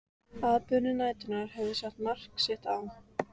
Atburðir næturinnar höfðu sett mark sitt á